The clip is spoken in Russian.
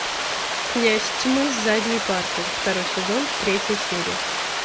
князь тьмы с задней парты второй сезон третья серия